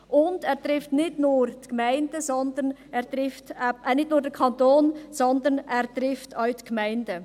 Dieser trifft nicht nur den Kanton, sondern er trifft auch die Gemeinden.